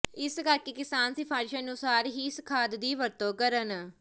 ਇਸ ਕਰਕੇ ਕਿਸਾਨ ਸਿਫਾਰਿਸ਼ ਅਨੁਸਾਰ ਹੀ ਇਸ ਖਾਦ ਦੀ ਵਰਤੋਂ ਕਰਨ